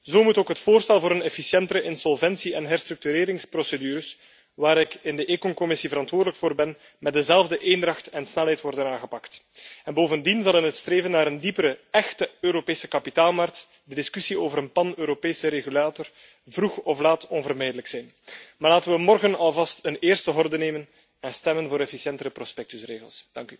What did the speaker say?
Zo moet ook het voorstel voor efficiëntere insolventie en herstructureringsprocedures, waar ik in de Commissie ECON verantwoordelijk voor ben, met dezelfde eendracht en snelheid worden aangepakt. Bovendien zal in het streven naar een diepere, échte Europese kapitaalmarkt de discussie over een pan Europese regulator vroeg of laat onvermijdelijk zijn. Maar laten we morgen alvast een eerste horde nemen en stemmen voor efficiëntere prospectusregels.